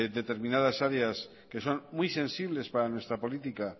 determinadas áreas que son muy sensibles para nuestra política